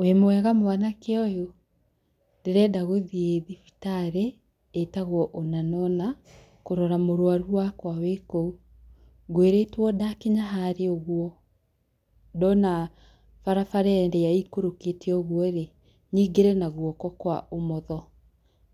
Wĩ mwega mwanake ũyũ, ndĩrenda gũthiĩ thibitarĩ ĩtagwo ũna na ũna, kũrora mũrwaru wakwa wĩ kou. Ngwĩrĩtwo ndakinya harĩa ũguo, ndona barabara ĩrĩa ĩikũrũkĩte ũguo-rĩ nyingĩre na guoko kwa ũmotho,